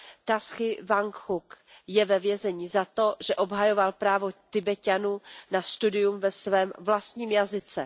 Taši Wangčuk je ve vězení za to, že obhajoval právo Tibeťanů na studium ve svém vlastním jazyce.